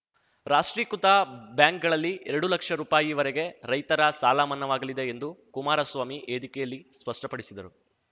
ರಾಷ್ಟ್ರೀಕೃತ ಬ್ಯಾಂಕ್‌ಗಳಲ್ಲಿ ಎರಡುಲಕ್ಷ ರುಪಾಯಿ ವರೆಗೆ ರೈತರ ಸಾಲ ಮನ್ನಾವಾಗಲಿದೆ ಎಂದು ಕುಮಾರಸ್ವಾಮಿ ವೇದಿಕೆಯಲ್ಲಿ ಸ್ಪಷ್ಟಪಡಿಸಿದರು